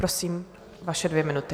Prosím, vaše dvě minuty.